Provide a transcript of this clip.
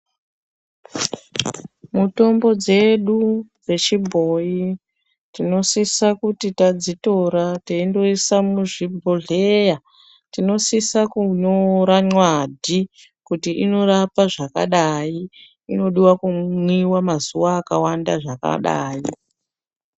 Mutombo dzedu dzechibhoyi, tinosisa kuti tadzitora teindoisa muzvibhohleya tinosisa kunyora mwadi kuti unorapa zvakadayi, inodiwa kumwiwa mazuva akawanda zvakadayi.